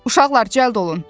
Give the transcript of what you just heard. Uşaqlar cəld olun.